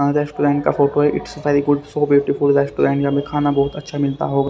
Restaurant का photo है it's very good so beautiful restaurant यहां पे खाना बहुत अच्छा मिलता होगा।